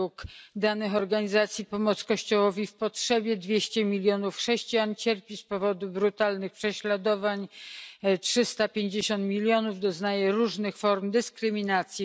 Według danych organizacji Pomoc Kościołowi w Potrzebie 200 milionów chrześcijan cierpi z powodu brutalnych prześladowań, 350 milionów doznaje różnych form dyskryminacji.